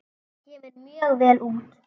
Það kemur mjög vel út.